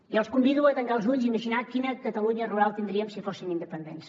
i els convido a tancar els ulls i imaginar quina catalunya rural tindríem si fóssim independents